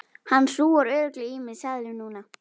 Hann hrúgar örugglega í mig seðlum núna.